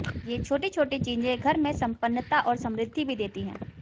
ये छोटी छोटी चीजें घर मे सम्पन्नता और समृद्धि भी देतीं हैं